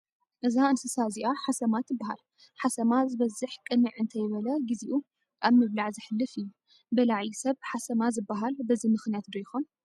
እዛ እንስሳ እዚአ ሓሰማ ትበሃል፡፡ ሓሰማ ዝበዝሕ ቅንዕ እንተይበለ ግዚኡ ኣብ ምብላዕ ዘሕልፍ እዩ፡፡ በላዒ ሰብ ሓሰማ ዝበሃል በዚ ምኽንያት ዶ ይኾን?